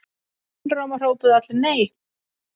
Einróma hrópuðu allir: NEI!